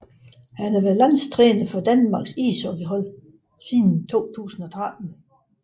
Han har været landstræner for Danmarks ishockeylandshold siden 2013